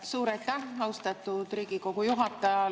Suur aitäh, austatud Riigikogu juhataja!